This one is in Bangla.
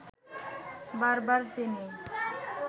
বার বার তিনি